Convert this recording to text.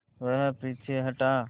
वह पीछे हटा